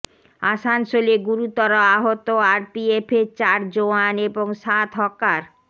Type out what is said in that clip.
আসানসোলে গুরুতর আহত আরপিএফের চার জওয়ান এবং সাত হকার